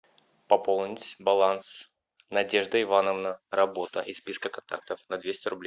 пополнить баланс надежда ивановна работа из списка контактов на двести рублей